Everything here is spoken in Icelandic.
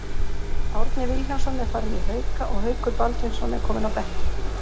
Árni Vilhjálmsson er farinn í Hauka og Haukur Baldvinsson er kominn á bekkinn.